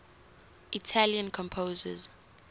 italian composers